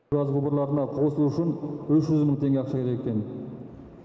газ құбырларына қосылу үшін үш жүз мың теңге ақша керек екен